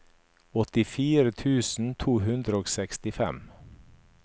åttifire tusen to hundre og sekstifem